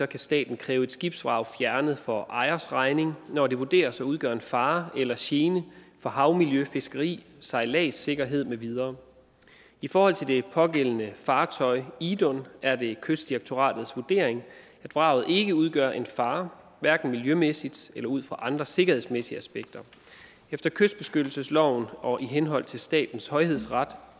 kan staten kræve et skibsvrag fjernet for ejers regning når det vurderes at udgøre en fare eller gene for havmiljø fiskeri sejladssikkerhed med videre i forhold til det pågældende fartøj idun er det kystdirektoratets vurdering at vraget ikke udgør en fare hverken miljømæssigt eller ud fra andre sikkerhedsmæssige aspekter efter kystbeskyttelsesloven og i henhold til statens højhedsret